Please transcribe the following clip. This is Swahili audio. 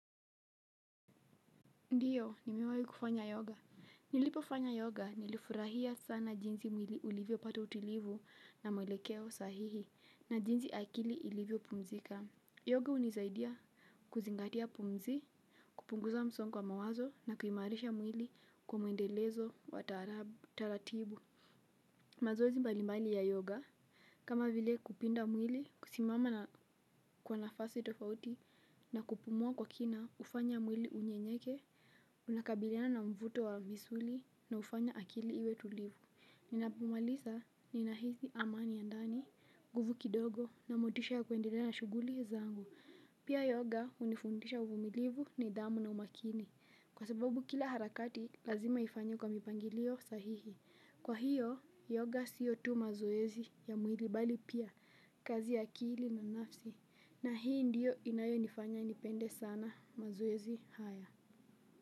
Ndiyo, nimewahi kufanya yoga. Nilipofanya yoga nilifurahia sana jinsi mwili ulivyopata utulivu na mwelekeo sahihi na jinsi akili ilivyo pumzika. Yoga hunisaidia kuzingatia pumzi, kupunguza msongo wa mawazo na kuimarisha mwili kwa mwendelezo wa taratibu. Mazoezi mbalimbali ya yoga. Kama vile kupinda mwili kusimama na kwa nafasi tofauti na kupumua kwa kina hufanya mwili unyenyeke. Unakabiliana na mvuto wa misuli na hufanya akili iwe tulivu. Ninapomaliza ninahisi amani ya ndani, nguvu kidogo na motisha ya kuendelea na shuguli zangu. Pia yoga hunifundisha uvumilivu nidhamu na umakini. Kwa sababu kila harakati lazima ifanywe kwa mipangilio sahihi. Kwa hiyo, yoga sio tu mazoezi ya mwili bali pia, kazi ya akili na nafsi. Na hii ndiyo inayonifanya nipende sana mazoezi haya.